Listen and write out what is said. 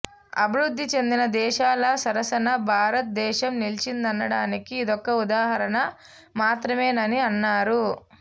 అభివృద్థి చెందిన దేశాల సరసన భారత దేశం నిలిచిందనడానికి ఇదొక ఉదాహరణ మాత్రమేనని అన్నారు